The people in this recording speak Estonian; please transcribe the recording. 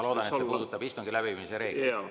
Ma loodan, et see puudutab istungi läbiviimise reegleid.